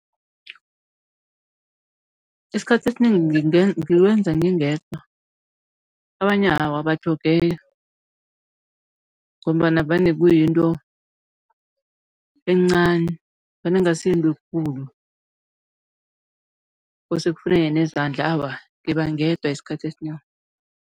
Isikhathi esinengi ngiwenza ngingedwa abanye awa abatlhogeki ngombana vane kuyinto encani, vane kungasi yinto ekulu kose kufuneke nezandla awa, ngiba ngedwa isikhathi esinengi.